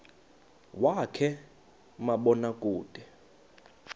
wakhe ma baoduke